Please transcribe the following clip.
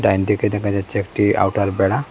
ডাইনদিকে দেখা যাচ্ছে একটি আউটার বেড়া।